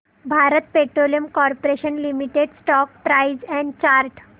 Bharat Petroleum Corporation Limited stock price and chart